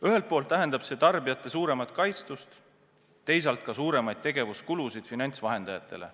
Ühel poolt tähendab see tarbijate suuremat kaitstust, teisalt ka suuremaid tegevuskulusid finantsvahendajatele.